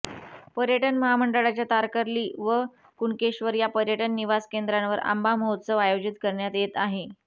पर्यटन महामंडळाच्या तारकर्ली व कुणकेश्वर या पर्यटन निवास केंद्रांवर आंबा महोत्सव आयोजित करण्यात येत आहे